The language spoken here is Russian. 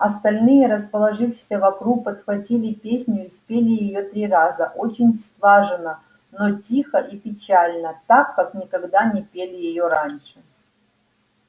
остальные расположившиеся вокруг подхватили песню и спели её три раза очень слаженно но тихо и печально так как никогда не пели её раньше